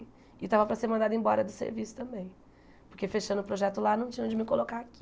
E eu estava para ser mandada embora do serviço também, porque fechando o projeto lá, não tinha onde me colocar aqui.